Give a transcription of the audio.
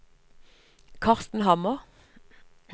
Karsten Hammer